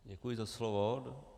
Děkuji za slovo.